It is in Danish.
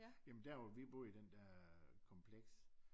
Ja men der hvor vi boede i den der kompleks